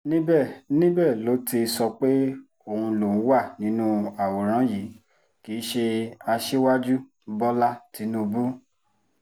níbẹ̀ níbẹ̀ ló ti sọ pé òun lòún wà nínú àwòrán yìí kì í ṣe aṣíwájú bọ́lá tínúbù